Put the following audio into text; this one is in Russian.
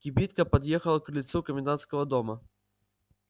кибитка подъехала к крыльцу комендантского дома